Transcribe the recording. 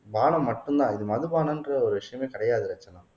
பானம் மட்டும்தான் இது மதுபானம்ன்ற ஒரு விஷயமே கிடையாது ரட்சனா